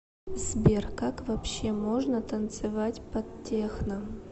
сбер как вообще можно танцевать под техно